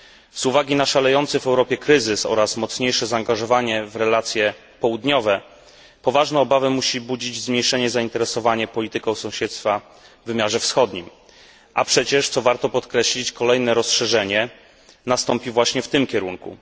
Z uwagi na szalejący w Europie kryzys oraz mocniejsze zaangażowanie w relacje południowe poważne obawy musi budzić zmniejszenie zainteresowania polityką sąsiedztwa w wymiarze wschodnim, a przecież, co warto podkreślić, kolejne rozszerzenie nastąpi właśnie w tym kierunku.